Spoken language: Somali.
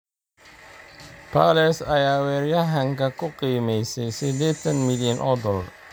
Palace ayaa weeraryahanka ku qiimaysa sidetaan milyan o dolar